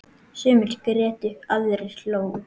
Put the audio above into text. Sumir grétu, aðrir hlógu.